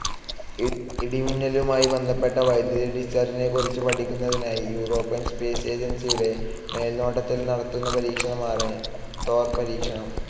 ഇടിമിന്നലുമായി ബന്ധപ്പെട്ട വൈദ്യുതി ഡിസ്ചാർജ്ജിനെകുറിച്ച് പഠിക്കുന്നതിനായി യൂറോപ്യൻ സ്പേസ്‌ ഏജൻസിയുടെ മേൽനോട്ടത്തിൽ നടക്കുന്ന പരീക്ഷണമാണ് തോർ പരീക്ഷണം.